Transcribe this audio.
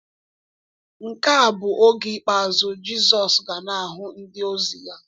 Nke a bụ oge ikpeazụ Jizọs ga na-ahụ ndịozi ya.